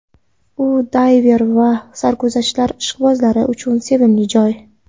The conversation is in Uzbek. U dayver va sarguzashtlar ishqibozlari uchun sevimli joy.